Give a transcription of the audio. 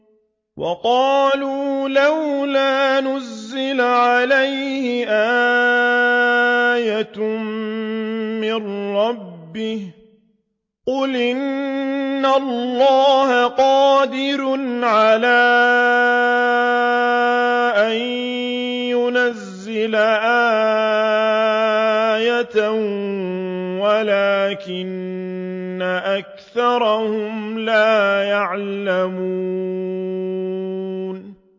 وَقَالُوا لَوْلَا نُزِّلَ عَلَيْهِ آيَةٌ مِّن رَّبِّهِ ۚ قُلْ إِنَّ اللَّهَ قَادِرٌ عَلَىٰ أَن يُنَزِّلَ آيَةً وَلَٰكِنَّ أَكْثَرَهُمْ لَا يَعْلَمُونَ